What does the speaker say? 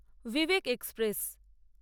Vivek express